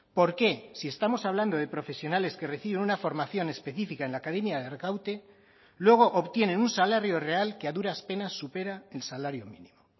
por qué si estamos hablando de profesionales que reciben una formación específica en la academia de arkaute luego obtienen un salario real que a duras penas supera el salario mínimo